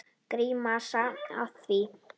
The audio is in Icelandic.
Gramsa í því.